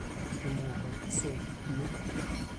Imugoksei ni.